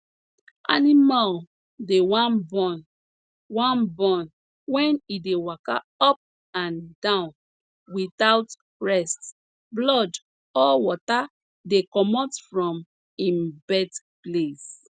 animal dey wan born wan born wen e dey waka up and down without rest blood or water dey comot from im birth place